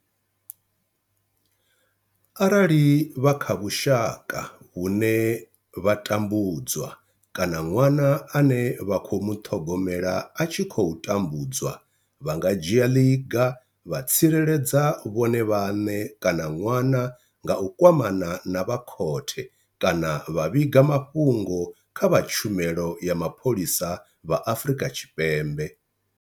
Arali vha kha vhusha ka vhune vha tambudzwa kana ṅwana ane vha khou muṱhogomela a tshi khou tambudzwa, vha nga dzhia ḽiga vha tsireledza vhone vhaṋe kana ṅwana nga u kwamana na vha khothe kana vha vhiga mafhungo kha vha Tshumelo ya Mapholisa vha Afrika Tshipembe.